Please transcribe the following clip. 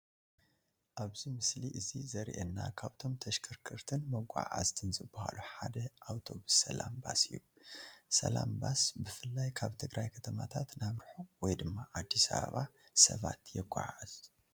ኣብዚ ምስሊ እዚ ዘሪኤና ካብቶም ተሽከርከርትን መጓዓዓዝትን ዝባሃሉ ሓደ ኣብቶብስ ሰላም ባስ እዩ፡፡ ሰላም ባስ ብፍላይ ካብ ትግራይ ከተማታት ናብ ርሑቕ ወይ ድማ ኣዲስ ኣበባ ሰባት የጓዓዓዝ፡፡